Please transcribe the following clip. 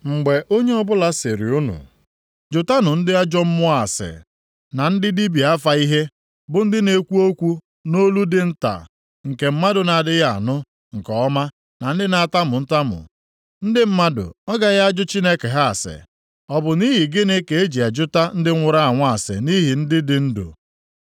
Mgbe onye ọbụla sịrị unu, jụtanụ ndị na-ajụ mmụọ ọjọọ ase na ndị dibịa afa ihe, bụ ndị na-ekwu okwu nʼolu dị nta nke mmadụ na-adịghị anụ nke ọma na ndị na-atamu atamu, ndị mmadụ ọ gaghị ajụ Chineke ha ase? Ọ bụ nʼihi gịnị ka eji jụta ndị nwụrụ anwụ ase nʼihi ndị dị ndụ?